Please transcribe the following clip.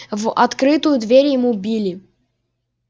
в открытую дверь ему били